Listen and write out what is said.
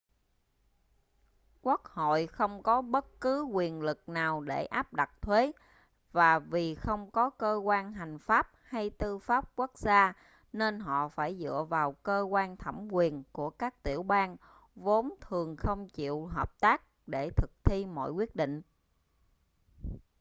quốc hội không có bất cứ quyền lực nào để áp đặt thuế và vì không có cơ quan hành pháp hay tư pháp quốc gia nên họ phải dựa vào cơ quan thẩm quyền của các tiểu bang vốn thường không chịu hợp tác để thực thi mọi quyết định